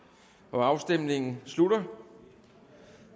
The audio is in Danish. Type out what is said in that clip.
afstemningen slutter